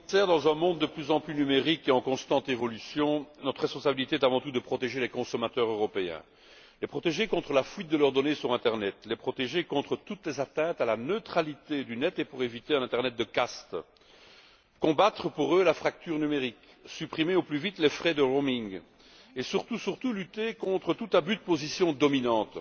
Monsieur le Président, dans un monde de plus en plus numérique et en constante évolution, notre responsabilité est avant tout de protéger les consommateurs européens, de les protéger contre la fuite de leurs données sur l'internet, de les protéger contre toutes les atteintes à la neutralité de l'internet, pour éviter un internet de castes, ainsi que de combattre pour eux la fracture numérique, de supprimer au plus vite les frais d'itinérance et, surtout, de lutter contre tout abus de position dominante.